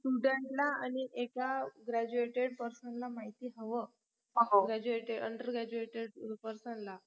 students ला आणि एका graduted person ला माहिती हवं graduatedundergraduated person ला